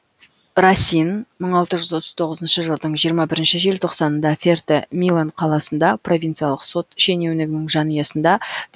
расин мың алты жүз отыз тоғызыншы жылдың жиырма бірінші желтоқсанында ферте милон қаласында провинциялық сот шенеунігінің жанұясында